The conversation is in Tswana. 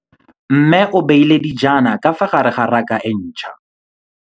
Mmê o beile dijana ka fa gare ga raka e ntšha.